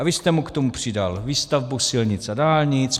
A vy jste mu k tomu přidal výstavbu silnic a dálnic;